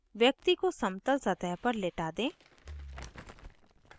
व्यक्ति को समतल सतह पर लेटा दें